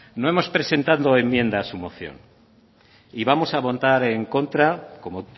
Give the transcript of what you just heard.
no hemos presentado enmienda a su moción y vamos a votar en contra como